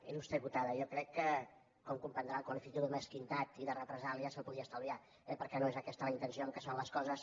il·lustre diputada jo crec que com comprendrà el qualificatiu de mesquinesa i de represàlia se’l podia estalviar perquè no és aquesta la intenció amb la qual es fan les coses